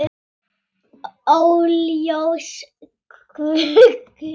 Óljós grunur læðist að Svenna.